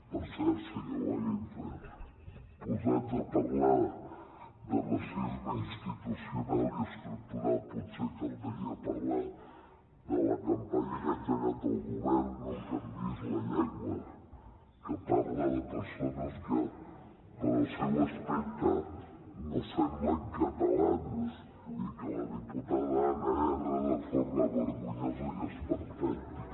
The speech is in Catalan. per cert senyor wagensberg posats a parlar de racisme institucional i estructural potser caldria parlar de la campanya que ha engegat el govern no em canviïs la llengua que parla de persones que pel seu aspecte no semblen catalans i que la diputada anna erra de forma vergonyosa i esperpèntica